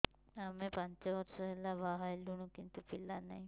ଆମେ ପାଞ୍ଚ ବର୍ଷ ହେଲା ବାହା ହେଲୁଣି କିନ୍ତୁ ପିଲା ନାହିଁ